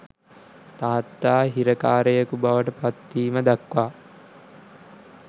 තාත්තා හිරකාරයකු බවට පත්වීම දක්වා